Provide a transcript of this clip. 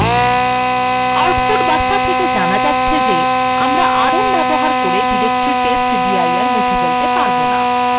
output বার্তা থেকে জানা যাচ্ছে যে আমরা rm ব্যবহার করে directory testdir মুছে ফেলতে পারব না